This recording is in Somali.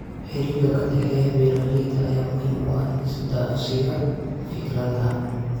Xiriirka ka dhexeeya beeralayda ayaa muhiim u ah isdhaafsiga fikradaha.